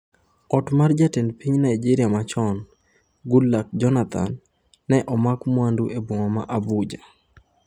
Ot mar jatend piny Naijeria machon, Goodluck Jonathan, ne omak mwandu e boma ma Abuja